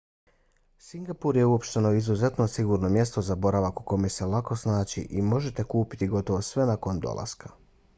singapur je uopšteno izuzetno sigurno mjesto za boravak u kome se lako snaći i možete kupiti gotovo sve nakon dolaska